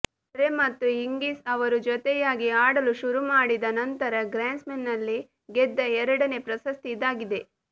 ಮರ್ರೆ ಮತ್ತು ಹಿಂಗಿಸ್ ಅವರು ಜೊತೆಯಾಗಿ ಆಡಲು ಶುರುಮಾಡಿದ ನಂತರ ಗ್ರ್ಯಾನ್ಸ್ಲ್ಯಾಮ್ನಲ್ಲಿ ಗೆದ್ದ ಎರಡನೇ ಪ್ರಶಸ್ತಿ ಇದಾಗಿದೆ